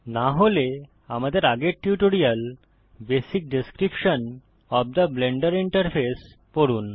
না হলে আমাদের আগের tutorial basic description of the Blender interface পড়ুন